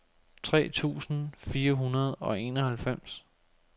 tre tusind fire hundrede og enoghalvfems